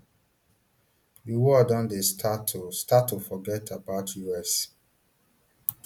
di world don dey start to start to forget about us